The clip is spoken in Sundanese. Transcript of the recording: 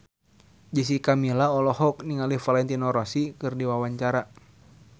Jessica Milla olohok ningali Valentino Rossi keur diwawancara